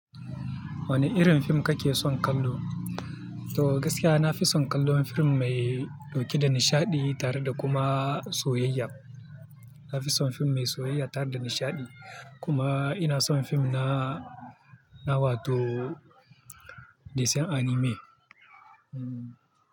Wane irin fim kake son kallo? To gaskiya na fi son kallon fim mai ɗauke da nishaɗi tare da kuma soyayya. Na fi son fim mai soyayya tare da nishaɗi. Kuma ina son fim na, na wato dis anime. Hmm.